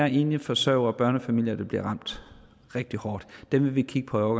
enlige forsørgere og børnefamilier bliver ramt rigtig hårdt dem vil vi kigge på